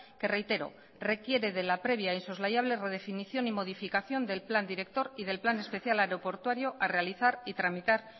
que reitero requiere de la previa insoslayable redefinición y modificación del plan director y del plan especial aeroportuario a realizar y tramitar